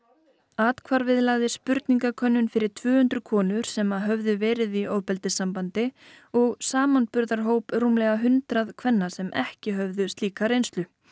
athvarfið lagði spurningakönnun fyrir tvö hundruð konur sem höfðu verið í ofbeldissambandi og samanburðarhóp rúmlega hundrað kvenna sem ekki höfðu slíka reynslu